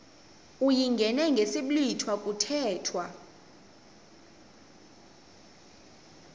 uyingene ngesiblwitha kuthethwa